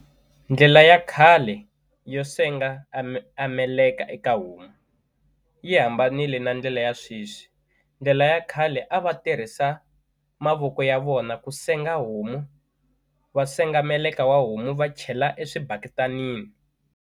Ndlela ya khale yo senga a meleka eka homu yi hambanile na ndlela ya sweswi ndlela ya khale a va tirhisa mavoko ya vona ku senga homu va senga meleka wa homu va chela eswibaketanini.